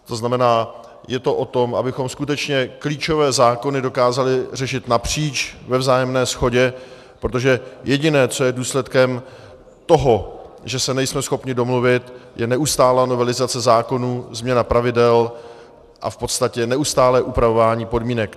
To znamená, je to o tom, abychom skutečně klíčové zákony dokázali řešit napříč ve vzájemné shodě, protože jediné, co je důsledkem toho, že se nejsme schopni domluvit, je neustálá novelizace zákonů, změna pravidel a v podstatě neustálé upravování podmínek.